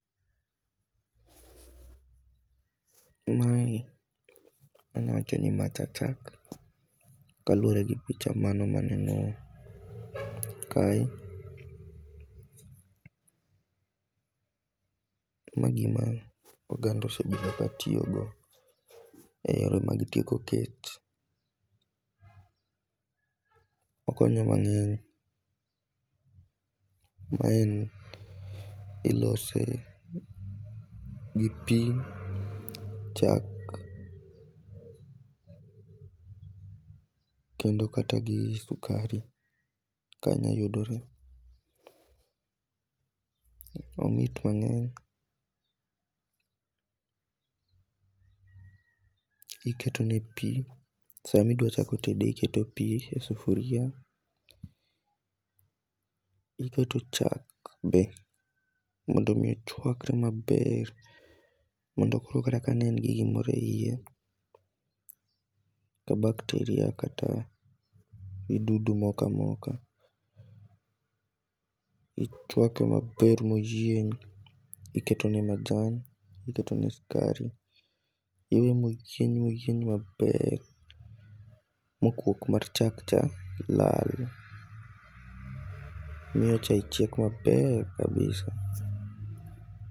Mae anya wacho ni ma cha chak kaluore gi picha mano maneo kae, to ma gima oganda osebedo katiyo go e yore mag tieko kech. Okonyo mangeny, ma en ilose gi pii, chak kendo kata gi sukari ka nya yudore. Omit mang'eny, iketo ne pii sama idwa chako tede iketo ne pii e sufuria ,iketo chak be mondo mi ochwakre maber mondo koro kata ne en gi gimoro e iye to bak teri oko to ido moko amoka, ichwake maber moyieny, iketo ne majan, iketo ne sukari, iwe mochwiny mochwiny maber ma kuok mar chak cha lal, miyo chai chiek maber kabisa.